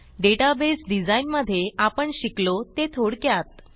database design मध्ये आपण शिकलो ते थोडक्यात 7